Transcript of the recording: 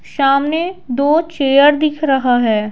सामने दो चेयर दिख रहा है।